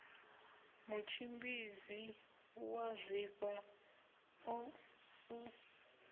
mutshimbidzi wa zwifha ṱo u